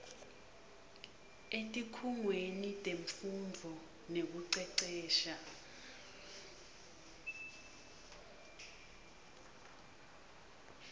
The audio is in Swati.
etikhungweni temfundvo nekucecesha